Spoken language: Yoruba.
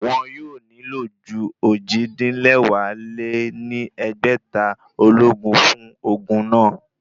Wọn yóò nílò ju ojì-din-lẹwá lé ní ẹgbẹ́ta ológun fún ogun náà